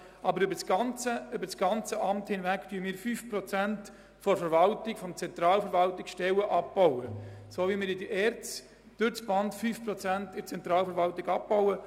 Aber über das ganze Amt hinweg bauen wir Stellen im Rahmen von 5 Prozent ab, so wie wir auch innerhalb der ERZ 5 Prozent in der Zentralverwaltung abbauen.